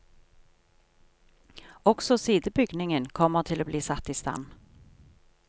Også sidebygningen kommer til å bli satt i stand.